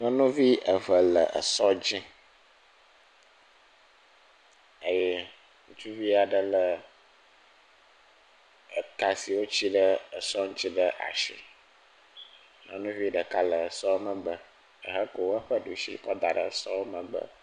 Nyɔnuvi eve le sɔdzi eye ŋutsuvi aɖe le ka si woti ɖe sɔa ŋti ɖe asi nyɔnuvi ɖeka le sɔa megbe hekɔ eƒe ɖusi daɖe sɔa megbe